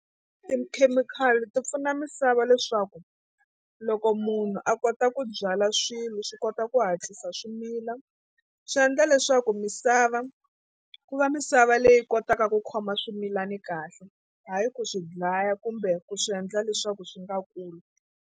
Tikhemikhali ti pfuna misava leswaku loko munhu a kota ku byala swilo swi kota ku hatlisa swi mila swi endla leswaku misava ku va misava leyi kotaka ku khoma swimilani kahle hayi ku swi dlaya kumbe ku swi endla leswaku swi nga kuli.